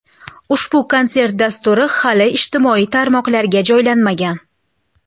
Ushbu konsert dasturi hali ijtimoiy tarmoqlarga joylanmagan.